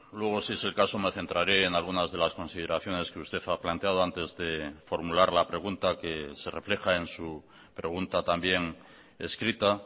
luego si es el caso me centraré en algunas de las consideraciones que usted ha planteado antes de formular la pregunta que se refleja en su pregunta también escrita